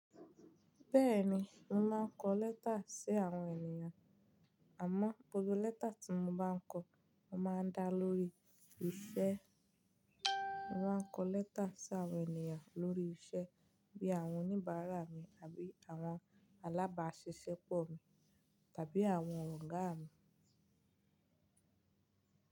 Bẹ́ẹ̀ni, mo ma ń kọ lẹ́tà sí àwọn ènìyàn. Àmọ́ gbogbo lẹ́tà tí mo bá ń kọ, mo ma ń dá lórí iṣẹ́. Mo ma ń kọ lẹ́tà sí àwọn ènìyàn lórí iṣẹ́ bí i àwọn oníbàárà mi àbí àwọn alábáṣeṣẹ́pọ̀ mi tàbí àwọn ọ̀gá mi.